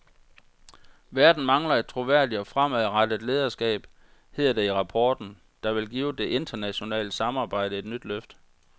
Verden mangler et troværdigt og fremadrettet lederskab, hedder det i rapporten, der vil give det internationale samarbejde et nyt løft.